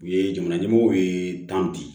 U ye jamana ɲɛmɔgɔw ye tan bi